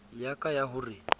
ya ka ya ho re